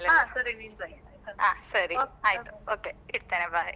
ಹಾ ಸರಿ. ಹಾ ನೀನ್ಸಾ ಹೇಳು ಹಾ ಸರಿ. ಆಯ್ತು okay ಇಡ್ತೇನೆ, bye